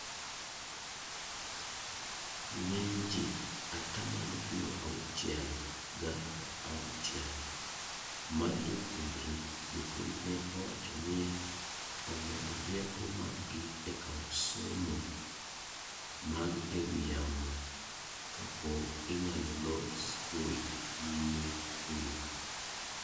ng'eny ji( atamalo piero auchiel gauchiel) mag jopuonjre jopuonj ne owacho ni omedo rieko mag gi e kawo somo mag e wi yamo kapo inyalo lor skul nyime kuno